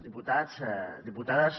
diputats diputades